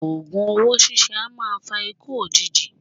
Ògùn owó síse a maa fa ikú òjijì